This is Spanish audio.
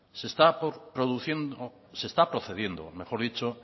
se está procediendo